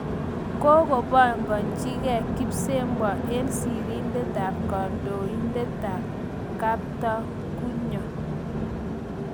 Kakopanganchikey kipsebwo eng sirindet ap kandoindet ap Kaptagunyo